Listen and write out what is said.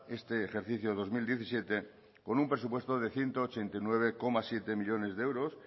este ejercicio dos mil diecisiete con un presupuesto de ciento ochenta y nueve coma siete millónes de euros